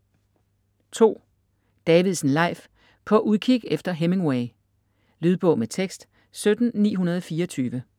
Davidsen, Leif: På udkig efter Hemingway Lydbog med tekst 17924